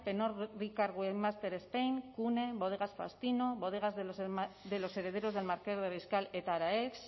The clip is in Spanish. master spain cune bodegas faustino bodegas de los herederos del marqués de riscal eta araex